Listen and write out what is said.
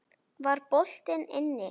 Var boltinn inni?